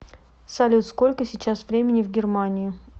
салют сколько сейчас времени в германии